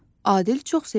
Adil çox sevindi.